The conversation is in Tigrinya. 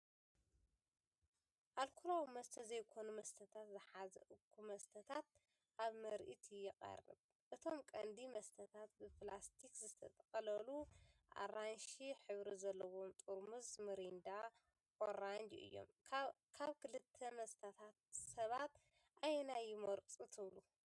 ልኮላዊ መስተ ዘይኮኑ መስተታት ዝሓዘ እኩብ መስተታት ኣብ ምርኢት ይቐርብ። እቶም ቀንዲ መስተታት ብፕላስቲክ ዝተጠቕለሉ ኣራንሺ ሕብሪ ዘለዎም ጥርሙዝ ሚሪንዳ ኦሬንጅ እዮም። ካብ ክልተ መስተታት ሰባት ኣየናይ ይመርጹ ትብሉ?